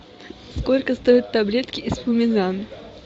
сколько стоят таблетки эспумизан